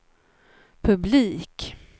publik